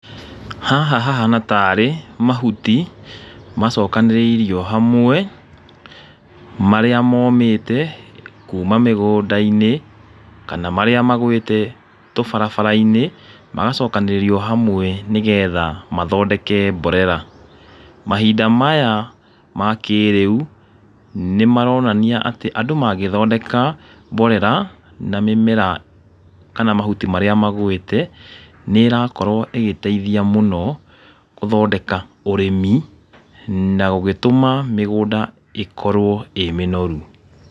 Haha hahana tarĩ mahuti macokanĩrĩirio hamwe, marĩa momĩte kuma mĩgũnda-inĩ, kana marĩa magwĩte tũbarabara-inĩ, magacokanĩrĩrio hamwe nĩgetha mathondeke mborera. Mahinda maya ma kĩrĩu, nĩ maronania atĩ andũ magĩthondeka mborera, na mĩmera kana mahuti marĩa magũĩte, nĩ ĩrakorwo ĩgĩteithia mũno, gũthondeka ũrĩmi, na gũgĩtũma mĩgũnda ĩkorwo ĩ mĩnoru.